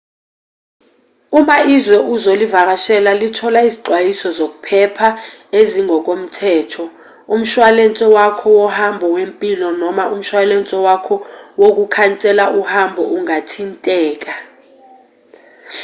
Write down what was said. uma izwe ozolivakashela lithola izixwayiso zokuphepha ezingokomthetho umshwalense wakho wohambo wempilo noma umshwalense wakho wokukhansela uhambo ungathinteka